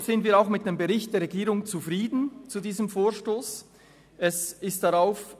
Deshalb sind wir auch mit dem Bericht der Regierung zu diesem Vorstoss zufrieden.